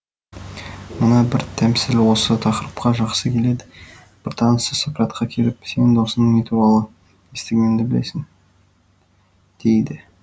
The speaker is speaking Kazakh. мына бір тәмсіл осы тақырыпқа жақсы келеді бір танысы сократқа келіп сенің досың туралы не естігенімді білемісің дейді